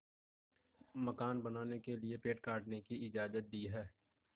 मकान बनाने के लिए पेड़ काटने की इजाज़त दी है